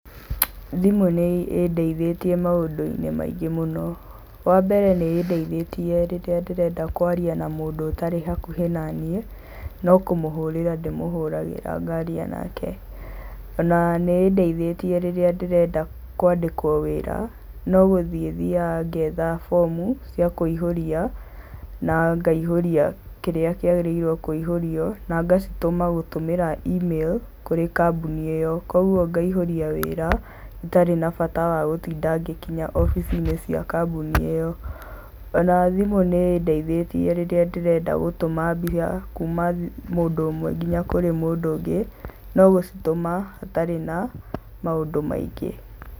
Thimũ nĩ ĩndeithĩtie maũndũ-inĩ maingĩ mũno. Wa mbere nĩ ĩndeithĩtie rĩrĩa ndĩrenda kwaria na mũndũ ũtarĩ hakuhĩ naniĩ, no kũmũhũrĩra ndĩmũhũragĩra ngaria nake, o na nĩ ĩndeithĩtie rĩrĩa ndĩrenda kwandĩkwo wĩra no gũthiĩ thiaga ngetha bomu cia kũihũria na ngaihũria kĩrĩa kĩagĩrĩirwo nĩ kũihũrio na ngacitũma gũtũmĩra imĩrũ kũrĩ kambuni ĩyo kogwo ngaihũria wĩra itarĩ na bata wa gũtinda ngĩkinya obici-inĩ cia kambuni ĩyo. O na thimũ nĩ ĩndeithĩtie rĩrĩa ndĩrenda gũtũma mbia kuma mũndũ ũmwe nginya mũndũ ũngĩ, no gũcitũma ũtarĩ na maũndũ maingĩ.